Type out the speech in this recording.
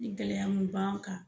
Ni gɛlɛya mu b'an kan.